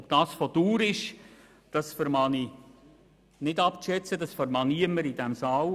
Ob das von Dauer ist, kann ich nicht abschätzen, das kann niemand in diesem Saal.